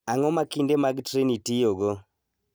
Ang�o ma kinde mag treni tiyogo?